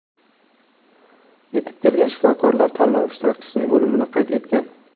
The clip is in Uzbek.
Yetib kelgan shifokorlar tanlov ishtirokchisining o‘limini qayd etgan.